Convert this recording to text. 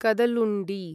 Kadalundi